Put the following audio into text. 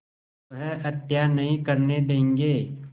वह हत्या नहीं करने देंगे